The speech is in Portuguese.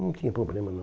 Não tinha problema, não.